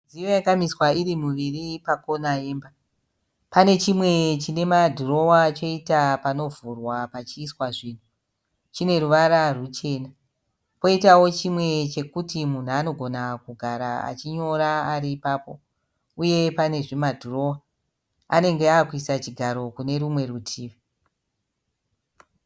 Midziyo yakamiswa iri miviri pacorner yemba. Pane chimwe chinemadhirowa choita panovhurwa pachiiswa zvinhu. Chine ruvara ruchena. Poitawo chimwe chekuti munhu anogona kugara achinyora ari ipapo. Uye pane zvimadhirowa. Anenge avekuisa chigaro kune rumwe rutivi.